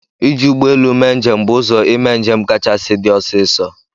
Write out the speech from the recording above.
Ịji ụgbọelụ mee njem bụ ụzọ ịme njem kachasị dị ọsịsọ.